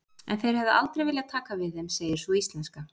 En þeir hefðu aldrei viljað taka við þeim, segir sú íslenska.